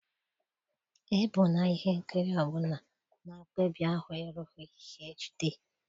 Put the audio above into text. Ebula ihe nkiri ọ bụla na mkpebi ahụ erughị HD.